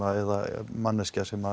eða manneskja sem